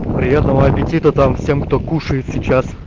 приятного аппетита там всем кто кушает сейчас